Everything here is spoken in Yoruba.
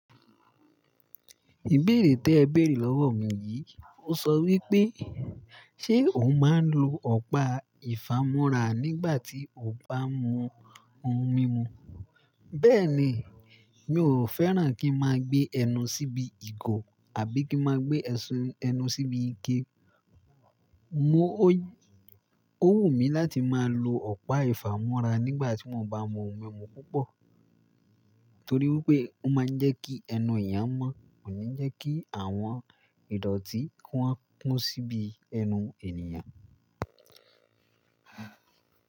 Ìbéèrè tí ẹ béèrè lọ́wọ́ mi yìí ó sọ wípé, ṣe ò máa ń lo ọ̀pá ìfámọ́ra nígbà tí o bá mú ohun mímu? Bẹ́ẹ̀ ni, mi ò fẹ́ràn kí n máa gbé ẹnu síbi ìgò àbí kí n máa gbé ẹsun ẹnu síbi ike. Mo ò, ó wù mí láti máa lo ọ̀pá ìfámọ́ra nígbà tí mo bá mú ohun mímu púpọ̀. Torí wípé ó máa ń jẹ́ kí ẹnu èèyàn mọ́, kò ní jẹ́ kí àwọn ìdọ̀tí wọ́n kún síbi ẹnu ènìyàn.